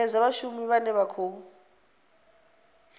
sedzwa vhashumi vhane vha khou